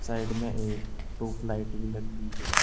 Side में एक tubelight भी लगी हुई है।